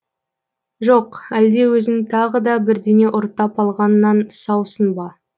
жоқ әлде өзің тағы да бірдеңе ұрттап алғаннан саусың ба